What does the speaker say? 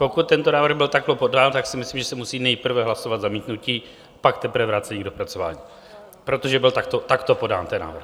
Pokud tento návrh byl takto podán, tak si myslím, že se musí nejprve hlasovat zamítnutí, pak teprve vrácení k dopracování, protože byl takto podán ten návrh.